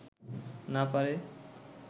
না পারে